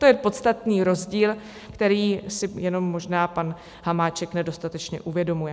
To je podstatný rozdíl, který si jenom možná pan Hamáček nedostatečně uvědomuje.